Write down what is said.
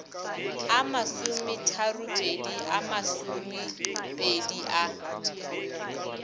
a masometharopedi a masomepedi a